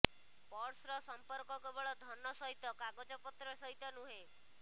ପର୍ସର ସମ୍ପର୍କ କେବଳ ଧନ ସହିତ କାଗଜ ପତ୍ର ସହିତ ନୁହେଁ